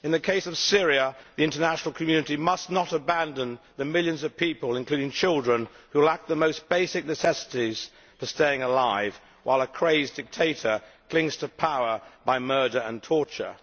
In the case of Syria, the international community must not abandon the millions of people including children who lack the most basic necessities for staying alive while a crazed dictator clings to power by murder and torture.